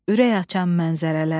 Ürək açan mənzərələr.